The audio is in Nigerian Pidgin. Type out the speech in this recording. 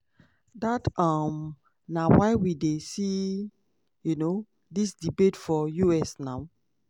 dat um na why we dey see um dis debate for us now."